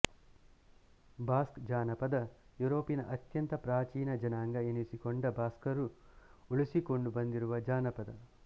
Basque ಜಾನಪದ ಯೂರೋಪಿನ ಅತ್ಯಂತ ಪ್ರಾಚೀನ ಜನಾಂಗ ಎನಿಸಿಕೊಂಡ ಬಾಸ್ಕರು ಉಳಿಸಿಕೊಂಡು ಬಂದಿರುವ ಜಾನಪದ